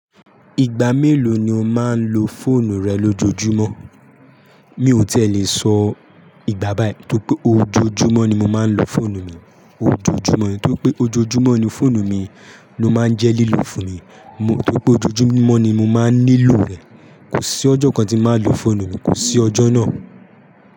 Ìgbà mélòó ni o máa ń lo fóònù rẹ lójoojúmọ́? Mi ò tí è lè sọ ìgbà báyìí, tó pé ojoojúmọ́ ni mo máa ń lo fóònù mi, ojoojúmọ́, nítorí pé ojoojúmọ́ ni fóònù mi ló máa ń jẹ́ lílo fún mi. Nítorí pé ojoojúmọ́ ni mo máa ń nílò rẹ̀. Kò sí ọjọ́ kan tí màá lo fóònù mi, kò sí ọjọ́ náà.